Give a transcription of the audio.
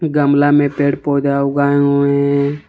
गमला में पेड़ पौधा उगाए हुए हैं।